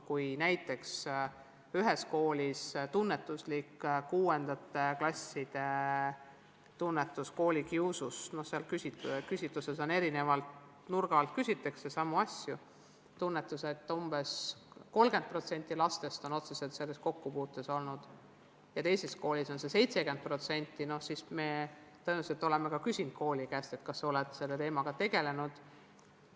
Kui näiteks ühes koolis ilmneb 6. klasside hulgas tunnetusliku koolikiusuga seoses – küsitluses küsitakse erineva nurga alt samu asju –, et umbes 30% lastest on sellega otseselt kokku puutunud, ja teises koolis on see näitaja 70%, siis me oleme tõenäoliselt ka kooli käest küsinud, et kas nad on selle teemaga tegelenud.